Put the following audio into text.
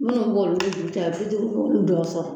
Minnu b'olu ni dugu cɛ bi duuru b'olu dɔw sɔrɔ